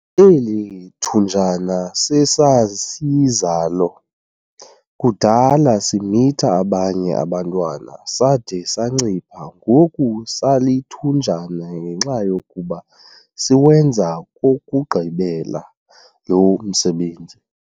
Eli thunjana sesasizalo kudala simitha abanye abantwana sade sancipha ngoku salithunjana ngenxa yokuba siwenza kokokugqibela lo msebenzi.